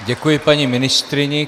Děkuji paní ministryni.